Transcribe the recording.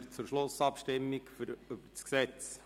Wir kommen zur Schlussabstimmung über das Gesetz.